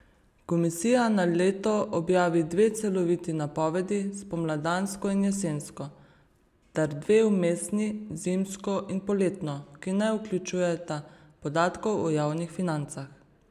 Komisija na leto objavi dve celoviti napovedi, spomladansko in jesensko, ter dve vmesni, zimsko in poletno, ki ne vključujeta podatkov o javnih financah.